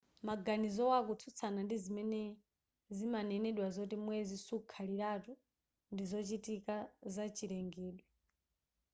maganizowa akutsutsana ndi zimene zimanenedwa zoti mwezi sukhaliratu ndizochitika zachilengedwe